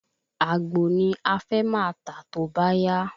Àgbò ni à fẹ máa tà tóbá yá